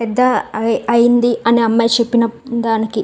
The ఐ అయింది. అనే అమ్మాయిచెప్పిన దానికి --